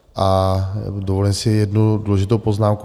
A dovolím si jednu důležitou poznámku.